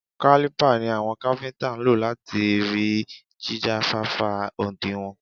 Kálípà ni àwọn káfíntà ń lò láti rí jíjáfáfá òdinwọ̀n.